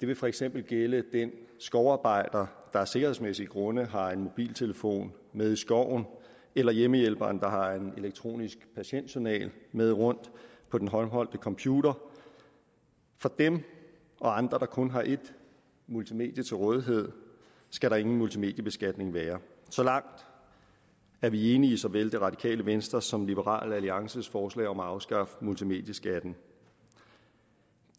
det vil for eksempel gælde den skovarbejder der af sikkerhedsmæssige grunde har en mobiltelefon med i skoven eller hjemmehjælperen der har en elektronisk patientjournal med rundt på den håndholdte computer for dem og andre der kun har et multimedie til rådighed skal der ingen multimediebeskatning være så langt er vi enige i såvel det radikale venstres som liberal alliances forslag om at afskaffe multimedieskatten